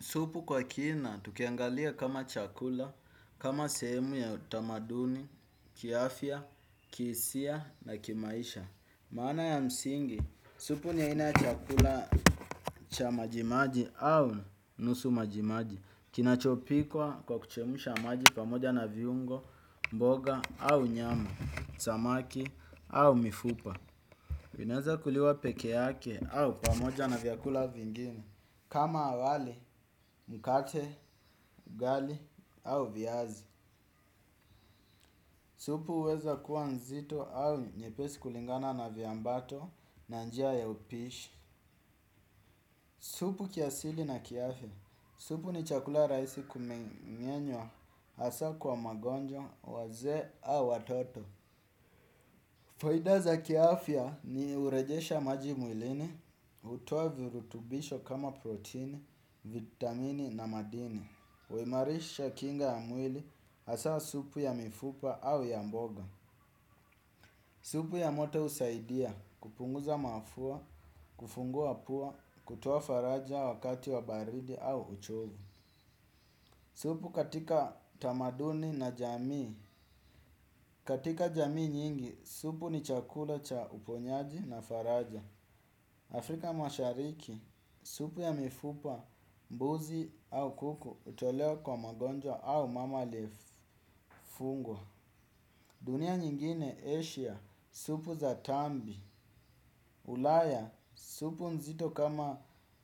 Supu kwa kina tukiangalia kama chakula, kama sehemu ya utamaduni, kiafya, kihisia na kimaisha. Maana ya msingi, supu ni aina ya chakula cha majimaji au nusu majimaji. Kinachopikwa kwa kuchemsha maji pamoja na viungo, mboga au nyama, samaki au mifupa. Vinaeza kuliwa peke yake au pamoja na vyakula vingine. Kama wali, mkate, ugali au viazi. Supu huweza kuwa nzito au nyepesi kulingana na vyambato na njia ya upishi. Supu kiasili na kiafya. Supu ni chakula rahisi kumeng'enywa hasa kwa magonjwa, wazee au watoto. Faida za kiafya ni hurejesha maji mwilini, hutoa virutubisho kama protini, vitamini na madini. Huimarisha kinga ya mwili hasa supu ya mifupa au ya mboga. Supu ya moto husaidia, kupunguza mafua, kufungua pua, kutoa faraja wakati wa baridi au uchovu. Supu katika tamaduni na jamii. Katika jamii nyingi, supu ni chakula cha uponyaji na faraja. Afrika mashariki, supu ya mifupa, mbuzi au kuku hutolewa kwa magonjwa au mama aliyefungwa. Dunia nyingine, Asia, supu za tambi. Ulaya, supu nzito kama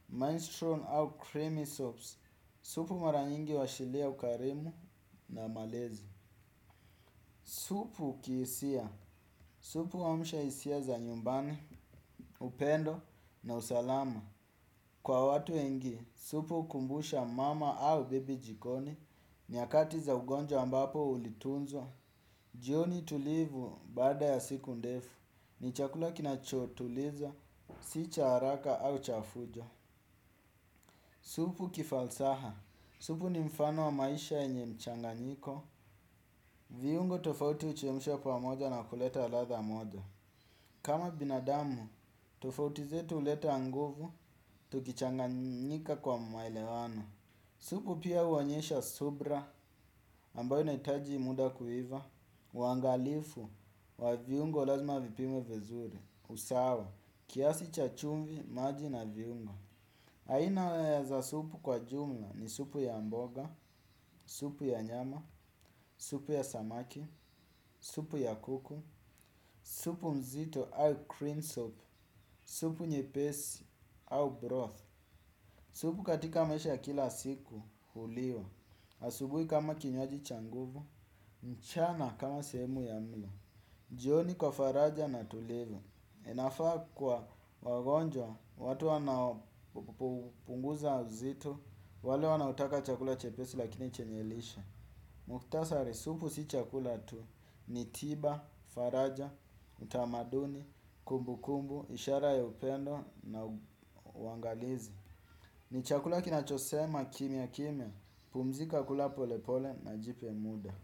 menstrual au creamy soaps. Supu mara nyingi huashilia ukarimu na malezi. Supu kihisia, supu huamsha hisia za nyumbani, upendo na usalama. Kwa watu wengi, supu hukumbusha mama au bebi jikoni nyakati za ugonjwa ambapo ulitunzwa. Jioni tulivu baada ya siku ndefu, ni chakula kinachotuliza, si cha haraka au cha fujo. Supu kifalsaha, supu ni mfano wa maisha yenye mchanganyiko, viungo tofauti huchemshwa pamoja na kuleta ladha moja. Kama binadamu, tofauti zetu huleta nguvu, tukichanganyika kwa maelewano. Supu pia huonyesha subra ambayo inahitaji muda kuiva, uangalifu wa viungo lazima vipimwe vizuri, usawa, kiasi cha chumvi, maji na viungo. Aina za supu kwa jumla ni supu ya mboga, supu ya nyama, supu ya samaki, supu ya kuku, supu mzito au cream soap, supu nyepesi au broth. Supu katika maisha ya kila siku huliwa, asubui kama kinywaji cha nguvu, mchana kama sehemu ya mlo. Jioni kwa faraja na tulivu. Inafaa kwa wagonjwa, watu wanaopunguza uzito, wale wanaotaka chakula chepesi lakini chenye lishe. Muktasari, supu si chakula tu ni tiba, faraja, utamaduni, kumbukumbu, ishara ya upendo na uangalizi. Ni chakula kinachosema kimya kimya, pumzika kula pole pole na jipe muda.